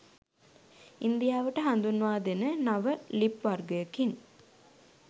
ඉන්දියාවට හඳුන්වා දෙන නව ලිප් වර්ගයකින්